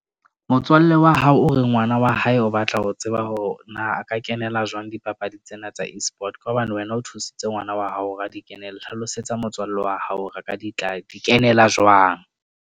Motswalle wa hao o re ngwana wa hae o batla ho tseba hore na a ka kenela jwang dipapadi tsena tsa Esport. Ka hobane wena o thusitse ngwana wa hao hore a ka di kenela. Hlalosetsa motswalle wa hao o re ka di kenela jwang.